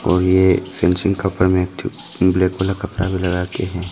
और ये फेंसिंग का ऊपर में एकठू ब्लैक कलर कपड़ा भी लगा के है।